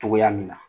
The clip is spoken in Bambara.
Togoya min na